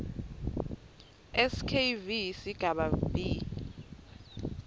skv sigaba b